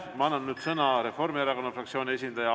Ma annan sõna Reformierakonna fraktsiooni esindajale.